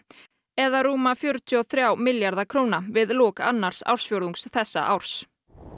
eða rúma fjörutíu og þriggja milljarða króna við lok annars ársfjórðungs þessa árs